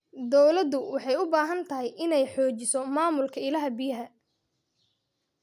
Dawladdu waxay u baahan tahay inay xoojiso maamulka ilaha biyaha.